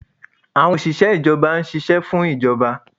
Awọn oṣiṣẹ ijọba n ṣiṣẹ fun ijọba